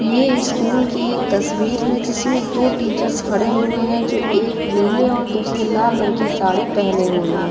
यह स्कूल की एक तस्वीर है। जिसमें दो टीचर्स खड़े हुए हैं जो एक नीले और दूसरे लाल रंग की साड़ी पहने हुए हैं।